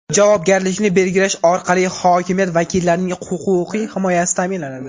javobgarlikni belgilash orqali hokimiyat vakillarining huquqiy himoyasi ta’minlanadi.